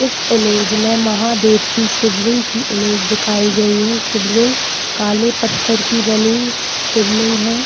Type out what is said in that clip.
इस इमेज में महादेव की शिबलिंग की इमेज दिखाई गयी है शिवलिंग काले पत्थर की बनी शिबलिंग है।